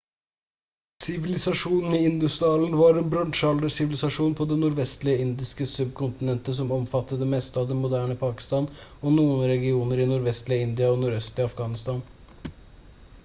sivilisasjonen i indus-dalen var en bronsealdersivilisasjon på det nordvestlige indiske subkontinentet som omfattet det meste av det moderne pakistan og noen regioner i nordvestlige india og nordøstlige afghanistan